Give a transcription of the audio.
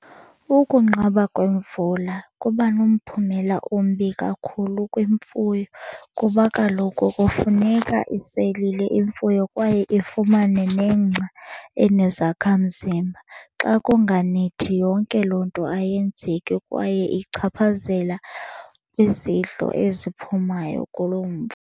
Ukunqaba kwemvula kuba nomphumela ombi kakhulu kwimfuyo kuba kaloku kufuneka iselile imfuyo kwaye ifumane negca enezakhamzimba. Xa kunganethi yonke loo nto ayenzeki kwaye ichaphazela izidlo eziphumayo kuloo .